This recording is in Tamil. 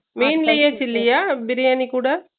main பிரியாணி கூட ?